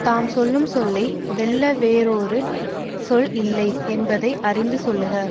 தாம் சொல்லும் சொல்லை வெல்ல வேறொரு சொல் இல்லை என்பதை அறிந்து சொல்லுக